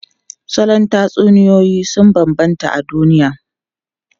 Salon tatsuniyoyi sun bambanta a duniya.